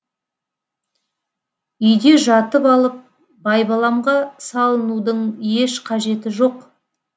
үйде жатып алып байбаламға салынудың еш қажеті жоқ